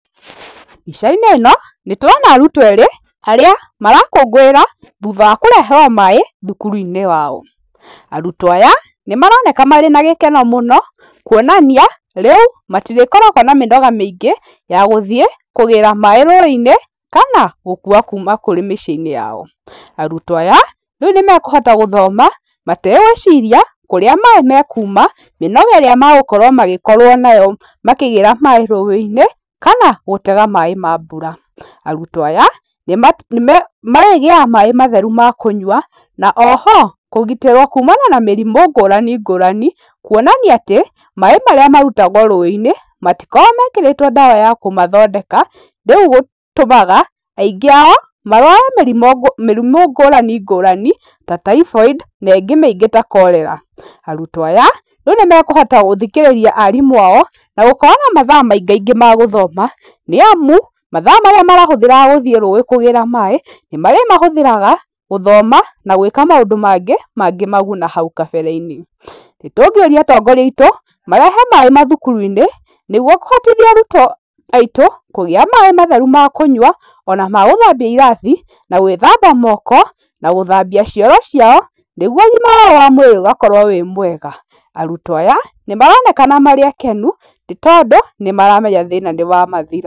Mbica-inĩ ĩno nĩndĩrona arutwo erĩ arĩa marakũngũĩra thutha wa kũreherwo maĩ thukuru-inĩ wao. Arutwo aya nĩmaroneka marĩ na gĩkeno mũno kuonania rĩu matirĩkoragwo na mĩnoga mĩingĩ ya gũthiĩ kũgĩra maĩ rũĩ-inĩ kana gũkua kuma kũrĩ mĩciĩ-inĩ yao. Arutwo aya rĩu nĩmakũhota gũthoma mategwĩciria kũrĩa maĩ makuma, mĩnoga ĩrĩa magũkorwo magĩkorwo nayo makĩgĩra maĩ rũĩ-inĩ, kana gũtega maĩ ma mbura. Arutwo aya nĩmarĩgĩaga maĩ matheru ma kũnywa na o ho kũgitĩrwo kumana na mĩrimũ ngũrani ngũrani kuonania atĩ maĩ marĩa marutagwo rũĩ-inĩ matikoragwo mekĩrĩtwo ndawa ya kũmathondeka rĩu gũtũmaga aingĩ ao marware mĩrimũ ngũrani ngũrani ta typhoid na ĩngĩ mĩingĩ ta cholera. Arutwo aya rĩu nĩmakũhota gũthikĩrĩria arimũ ao na gũkorwo na mathaa maingaingĩ ma gũthoma, nĩamu mathaa maríĩ marahũthagĩra gũthĩe rũĩ kũgĩra maĩ nĩmarĩmahũthĩraga gũthoma na gũĩka maũndũ mangĩ mangĩmaguna hau kabere-inĩ . Nĩtũngĩũrĩa atongoria aitũ marehe maĩ mathukuru-inĩ nĩgũo kũhotithia arutwo aitũ kũgĩa maĩ matheru ma kũnywa, ona ma gũthambia irathi na gũĩthamba moko, na gũthambia cioro ciao, nĩgũo ũgĩma wao wa mũĩrĩ ũgakorwo wĩ mwega. Arutwo aya nĩmaronekana marĩ akenu nĩtondũ nĩmaramenya thĩna nĩwamathira.